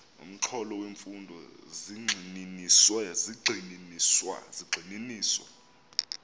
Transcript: nomxholo wemfundo zigxininiswa